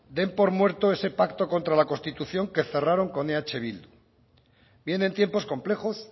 den por muerto ese pacto contra la constitución que cerraron con eh bildu vienen tiempos complejos